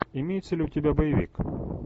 имеется ли у тебя боевик